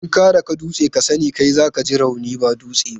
In ka daki dutse, kai sa ne za ka ji rauni ba dutsen ba.